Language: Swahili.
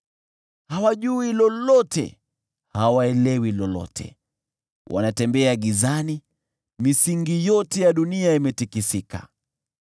“Hawajui lolote, hawaelewi lolote. Wanatembea gizani; misingi yote ya dunia imetikisika.